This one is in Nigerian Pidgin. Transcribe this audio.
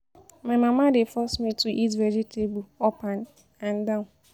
My mama dey force me to eat vegetable up and and down